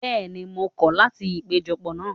Bẹ́ẹ̀ni, mo kọ́ láti ìpéjọ pọ̀ náà.